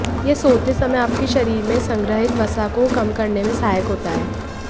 यह सोते समय आपके शरीर में संग्रहित वसा को कम करने में सहायक होता है